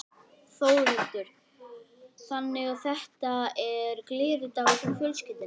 Þórhildur: Þannig að þetta er gleðidagur hjá fjölskyldunni?